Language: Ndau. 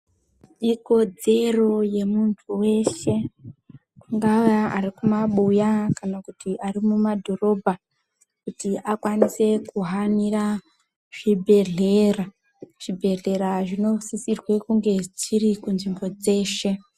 Ikodzero yemuntu weshe angave arikumabuya kana arikumadhorobha kuti akwanise kuhanira kuzvibhedhlera zvibhedhlera zvinosisira kunge dziri kunzvimbo dzeshe.